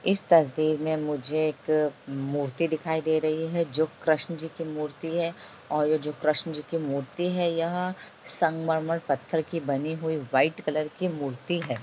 इस तस्वीर में मुझे एक मूर्ति दिखाई दे रही है जो कृष्ण जी की मूर्ति है और जो कृष्ण जी की मूर्ति है यह संगमरमर पत्थर की बनी हुई व्हाइट कलर की मूर्ति है।